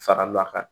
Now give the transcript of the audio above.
Faral'a kan